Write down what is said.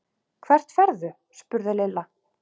Hvert ferðu? spurði Lilla.